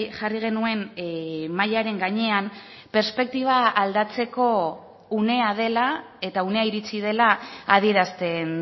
jarri genuen mahaiaren gainean perspektiba aldatzeko unea dela eta unea iritsi dela adierazten